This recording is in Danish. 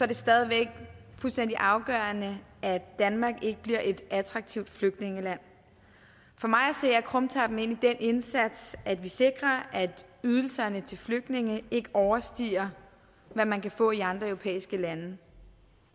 det stadig væk fuldstændig afgørende at danmark ikke bliver et attraktivt flygtningeland for mig at se er krumtappen egentlig den indsats at vi sikrer at ydelserne til flygtninge ikke overstiger hvad man kan få i andre europæiske lande